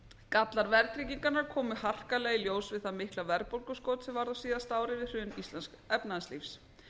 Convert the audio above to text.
gallar verðtryggingarinnar komu harkalega í ljós við það mikla verðbólguskot sem varð á síðasta ári við hrun íslensks efnahagslífs